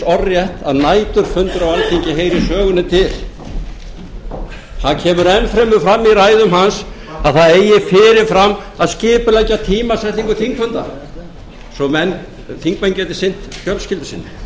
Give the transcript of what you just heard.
orðrétt að næturfundur á alþingi heyri sögunni til það kemur enn fremur fram í ræðum hans að það eigi fyrir fram að skipuleggja tímasetningu þingfunda svo þingmenn geti sinnt fjölskyldu sinni í þriðja